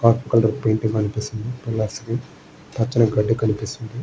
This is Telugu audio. పక్కన పెయింట్ కనిపిస్తుంది పిల్లర్స్ కి. పచ్చని గడ్డి కనిపిస్తుంది.